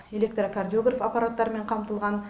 электрокардиограф аппараттарымен қамтылған